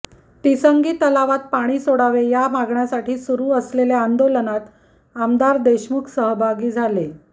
तिसंगी तलावात पाणी सोडावे या मागणीसाठी सुरू असलेल्या आंदोलनात आमदार देशमुख सहभागी झाले